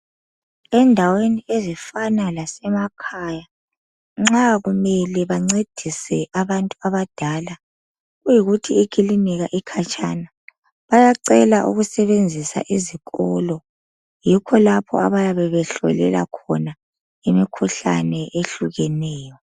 Endaweni ezifana lasemakhaya nxa kumele bancedise abantu abadala kuyikuthi ikilinika ikhatshana bayacela ukusebenzisa izikolo. Yikho lapho abayabe behlolela khona imikhuhlane ehlukeyeneyo.